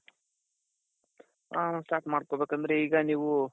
ಹಾ start ಮಾಡ್ಕೋ ಬೇಕಂದ್ರೆ ಈಗ ನೀವು,